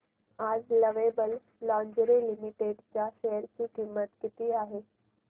आज Lovable Lingerie Limited च्या share ची किंमत किती आहे